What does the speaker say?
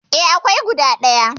E, akwai guda ɗaya.